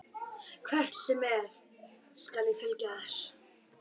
Hvert sem er skal ég fylgja þér.